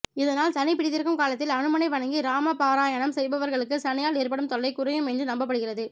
இதனால் சனி பீடித்திருக்கும் காலத்தில் அனுமனை வணங்கி இராம பாராயணம் செய்பவர்களுக்கு சனியால் ஏற்படும் தொல்லை குறையும் என்று நம்பப்படுகிறது